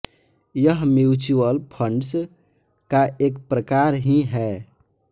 यह mutual funds का एक प्रकार ही है